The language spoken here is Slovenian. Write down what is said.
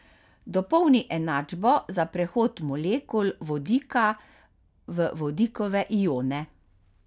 Dopolni enačbo za prehod molekul vodika v vodikove ione.